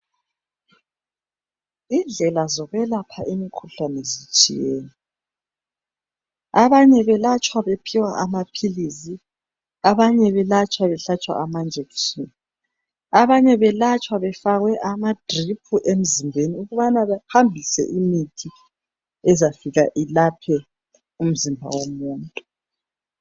Indlela zokwelapha imikhuhlane zitshiyene. Abanye belatshwa bephiwa amaphilisi, abanye belatshwa behlatshwa amajekiseni, abanye belatshwa befakwe ama drip emzimbeni ukubana behambise imithi ezafika ilaphe umzimba womuntu.